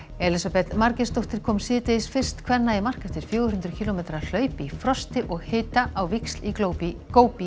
Elísabet Margeirsdóttir kom síðdegis fyrst kvenna í mark eftir fjögur hundruð kílómetra hlaup í frosti og hita á víxl í í